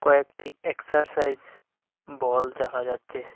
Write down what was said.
কয়েকটি exercise ball দেখা যাচ্ছে।